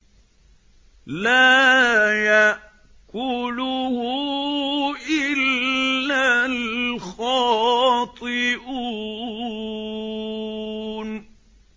لَّا يَأْكُلُهُ إِلَّا الْخَاطِئُونَ